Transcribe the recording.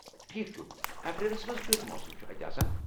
ٹھیک چھ ۔ اپریلس منٛز کِیٚتھ موسم چُھ اتہِ آسان ؟